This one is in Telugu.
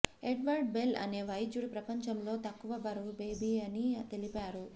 ఎడ్వర్డ్ బెల్ అనే వైద్యుడు ప్రపంచంలో తక్కువ బరువు బేబీ అని తెలిపారు